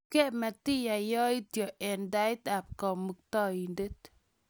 Ripkei matiyai yaityo eng' tait ap Kamuktaindet.